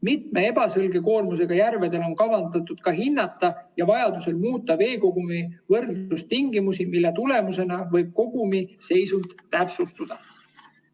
Mitme ebaselge koormusega järvel on kavandatud ka hinnata ja vajaduse korral muuta veekogumi võrdlustingimusi, mille tulemusena võib kogumi seisund täpsustuda.